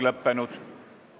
Istungi lõpp kell 10.28.